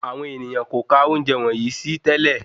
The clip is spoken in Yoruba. Àwọn ènìyàn kò kà ounjẹ wọnyii sí tẹ́lẹ̀